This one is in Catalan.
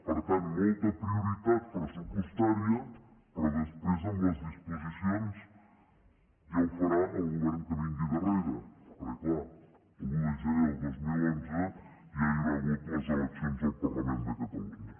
per tant molta prioritat pressupostària però després amb les disposicions ja ho farà el govern que vingui darrere perquè clar l’un de gener del dos mil onze ja hi haurà hagut les eleccions al parlament de catalunya